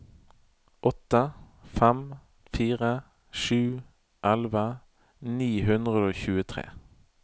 åtte fem fire sju elleve ni hundre og tjuetre